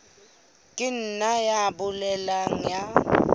ka nna ya boela ya